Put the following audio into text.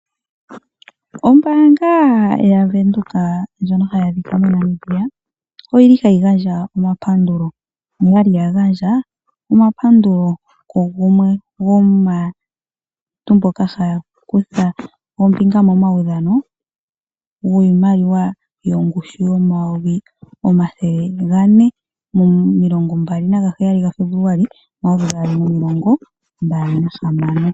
Ombaanga yaVenduka ndjono hayi adhika moNamibia oyili hayi gandja, noyali gandja omapandulo ku gumwe gomaantu mboka haya kutha ombinga momaudhano wiimaliwa yongushu yoondola omayovi omathele gane mo 20 Febuluali 2026.